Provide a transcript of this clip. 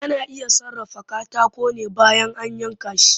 Ana iya sarrafa katako ne bayan an yanka shi